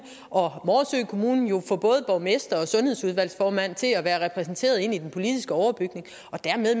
og morsø kommune jo med både borgmestrene og sundhedsudvalgsformændene være repræsenterede i den politiske overbygning og dermed